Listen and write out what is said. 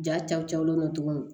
Ja caw na tugun